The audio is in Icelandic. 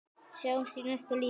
Sjáumst í næsta lífi.